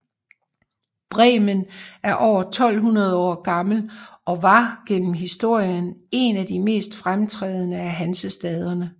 Bremen er over 1200 år gammel og var gennem historien en af de mest fremtrædende af Hansestaderne